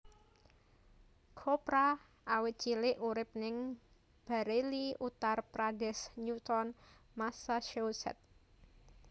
Chopra awit cilik urip ning Bareilly Uttar Pradesh Newton Massachusetts